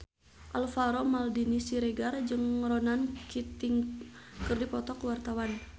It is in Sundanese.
Alvaro Maldini Siregar jeung Ronan Keating keur dipoto ku wartawan